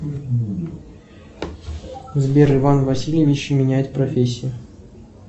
сбер иван васильевич меняет профессию